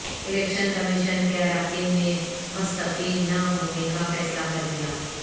election commission کے اراکین نے مستعفی نہ ہونے کا فیصلہ کرلیا